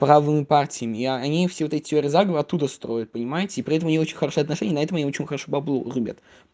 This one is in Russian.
правые партии и они всегда теперь вот туда стоит понимаете и поэтому не очень хорошие отношения на этом ничего хорошего